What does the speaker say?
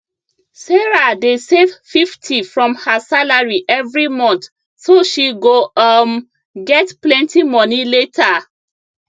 sarah dey save 50 from her salary every month so she go um get plenty money later